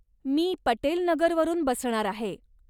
मी पटेल नगर वरून बसणार आहे.